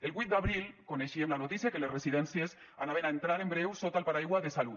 el vuit d’abril coneixíem la notícia que les residències anaven a entrar en breu sota el paraigua de salut